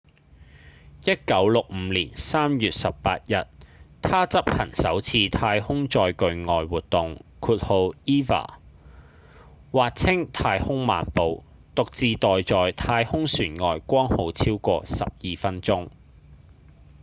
1965年3月18日他執行首次太空載具外活動 eva 或稱「太空漫步」獨自待在太空船外剛好超過12分鐘